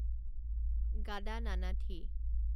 গাদানানাথি